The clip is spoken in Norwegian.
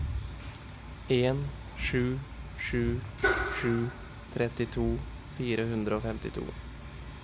en sju sju sju trettito fire hundre og femtito